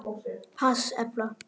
PASS efla